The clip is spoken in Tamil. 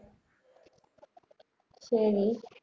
சரி